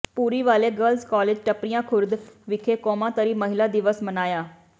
Bhuriwale girls college Tappariyan Khurd ਵਿਖੇ ਕੌਮਾਂਤਰੀ ਮਹਿਲਾ ਦਿਵਸ ਮਨਾਇਆ